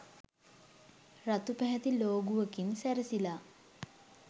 රතු පැහැති ලෝගුවකින් සැරසිලා